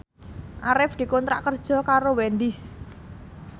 Arif dikontrak kerja karo Wendys